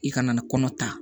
I kana kɔnɔ ta